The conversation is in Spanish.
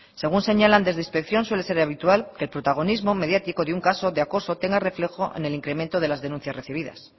según señalan desde inspección suele ser habitual que el protagonismo mediático de un caso de acoso tenga reflejo en el incremento de las denuncias recibidas